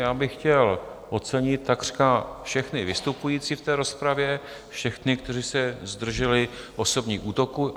Já bych chtěl ocenit takřka všechny vystupující v té rozpravě, všechny, kteří se zdrželi osobních útoků.